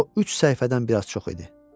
O üç səhifədən biraz çox idi.